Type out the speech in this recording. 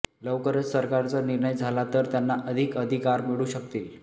लवकरच सरकारचा निर्णय झाला तर त्यांना अधिक अधिकार मिळू शकतील